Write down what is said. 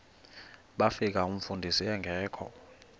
bafika umfundisi engekho